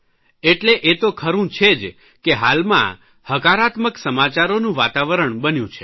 એટલે એ તો ખરૂં છે જ કે હાલમાં હકારાત્મક સમાચારોનું વાતાવરણ બન્યું છે